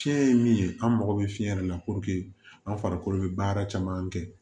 Fiɲɛ ye min ye an mago bɛ fiɲɛ de la an farikolo bɛ baara caman kɛ